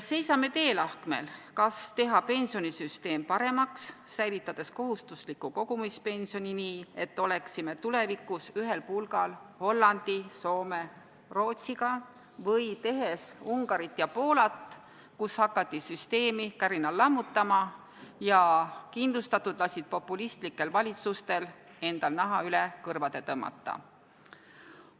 Seisame teelahkmel, kas teha pensionisüsteem paremaks, säilitades kohustusliku kogumispensioni, nii et oleksime tulevikus ühel pulgal Hollandi, Soome ja Rootsiga, või tehes Ungarit ja Poolat, kus hakati süsteemi kärinal lammutama ja kindlustatud lasid populistlikel valitsustel endal naha üle kõrvade tõmmata.